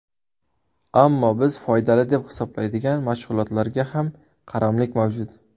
Ammo biz foydali deb hisoblaydigan mashg‘ulotlarga ham qaramlik mavjud.